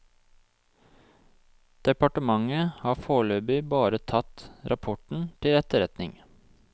Departementet har foreløpig bare tatt rapporten til etterretning.